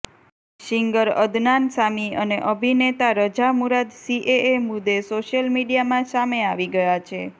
singer Adnan Sami અને અભિનેતા Raza Murad CAA મુદે સોશિયલ મીડિયામાં સામે આવી ગયા છે